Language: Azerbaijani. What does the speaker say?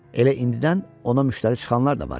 Elə indidən ona müştəri çıxanlar da var idi.